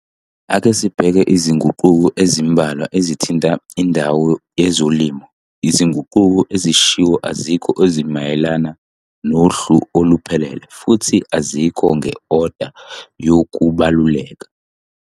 Ake sibheke izinguquko ezimbalwa ezithinta indawo yezolimo. Izinguquko ezishiwo azikho ezimayelana nohlu oluphelele futhi azikho nge-oda yokubaluleka.